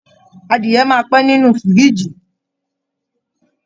Adìyẹ máa pẹ́ ninu fírìjì.